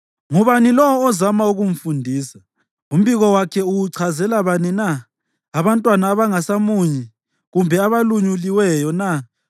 “Ngubani lowo ozama ukumfundisa? Umbiko wakhe uwuchazela bani na? Abantwana abangasamunyi, kumbe abalunyuliweyo na?